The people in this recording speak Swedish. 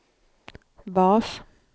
bas